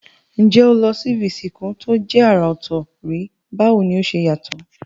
N jé o ti lo si ibi ìsìnkú to je àrà òtò rí, báwoni o se yàtò?